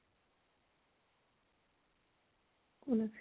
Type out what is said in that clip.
কোন আছিলে?